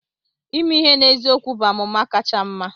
Ime ihe n'eziokwu bụ amụma kacha mma.